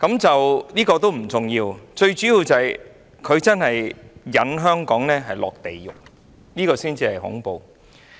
這亦不重要，最重要的是他把香港引入地獄，這才恐怖。